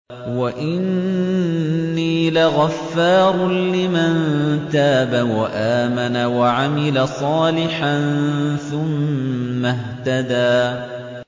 وَإِنِّي لَغَفَّارٌ لِّمَن تَابَ وَآمَنَ وَعَمِلَ صَالِحًا ثُمَّ اهْتَدَىٰ